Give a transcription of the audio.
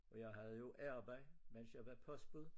Og jeg hade jo arbejde mens jeg var postbud